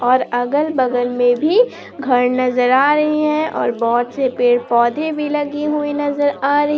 अगल बगल में भी घर नजर आ रही है और बहुत से पेड़ पौधे भी लगी हुई नजर आ रही--